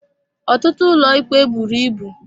Ọtụtụ ụlọikpe buru ibu.